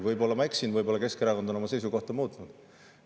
Võib-olla ma eksin, võib-olla Keskerakond on oma seisukohta muutnud.